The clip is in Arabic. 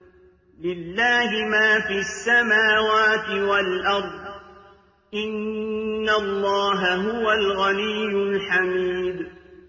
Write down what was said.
لِلَّهِ مَا فِي السَّمَاوَاتِ وَالْأَرْضِ ۚ إِنَّ اللَّهَ هُوَ الْغَنِيُّ الْحَمِيدُ